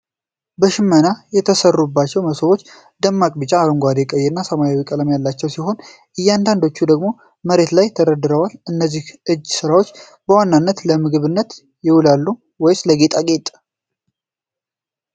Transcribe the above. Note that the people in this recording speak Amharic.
በሽመና የተሠሩት መሶቦች ደማቅ ቢጫ፣ አረንጓዴ፣ ቀይና ሰማያዊ ቀለም ያላቸው ሲሆን፣ አንዳንዶቹ ደግሞ መሬት ላይ ተደርድረዋል። እነዚህ የእጅ ሥራዎች በዋናነት ለምግብነት ይውላሉ ወይስ ለጌጣጌጥ?